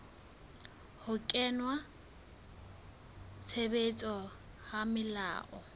ho kenngwa tshebetsong ha melao